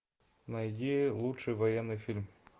найди лучший военный фильм